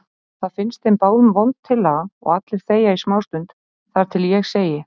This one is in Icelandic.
Það finnst þeim báðum vond tillaga og allir þegja í smástund þar til ég segi